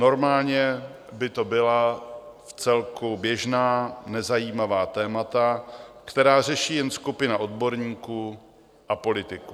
Normálně by to byla vcelku běžná nezajímavá témata, která řeší jen skupina odborníků a politiků.